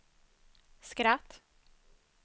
skratt